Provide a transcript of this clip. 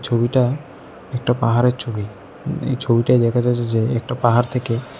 ছবিটা একটা পাহাড়ের ছবি এই ছবিটা দেখা যাচ্ছে যে একটা পাহাড় থেকে--